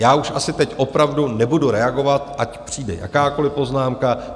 Já už asi teď opravdu nebudu reagovat, ať přijde jakákoliv poznámka.